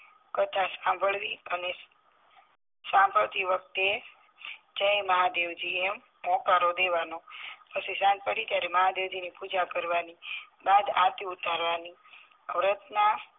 કથા સાંભળવી અને સાંભળતી વખતે જય મહાદેવજી એમ હોંકારો દેવાનો પછી સાંજ પડે ત્યારે મહાદેવજીની પૂજા કરવાની બાદ આરતી ઉ તારવાની વ્રત ના